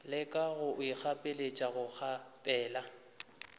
leka go ikgapeletša go kgaphela